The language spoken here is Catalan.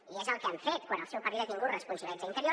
i és el que han fet quan el seu partit ha tingut responsabilitats a interior